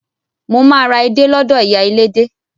Mo máa ra edé lọ́dọ̀ ìyá elédé.